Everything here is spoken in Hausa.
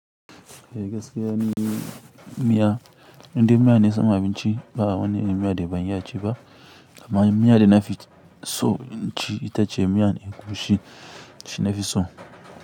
Eh gaskiya ni miya, indai miya na samu abinci ba wani miya da ban iya ciki ba. Amma miya da na fi so in ci ita ce miyan egusi shina fi so.